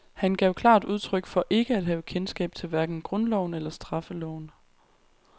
Han gav klart udtryk for ikke at have kendskab til hverken grundloven eller straffeloven.